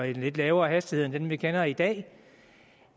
en lidt lavere hastighed end den vi kender i dag